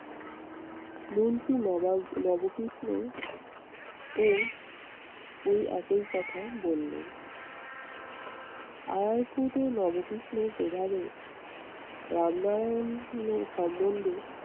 মুন্সি নবাব নবকৃষ্ণও ওই একই কথাই বললেন। আরার কুটও নবকৃষ্ণের প্রভাবে রামনারায়ানের সম্মন্ধে